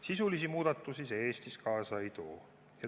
Sisulisi muudatusi see Eestis kaasa ei too.